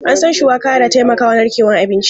An san shuwaka da taimakawa narkewan abinci.